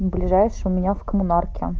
ближайший у меня в коммунарке